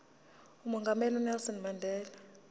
umongameli unelson mandela